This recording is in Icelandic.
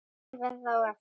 Kakó og samvera á eftir.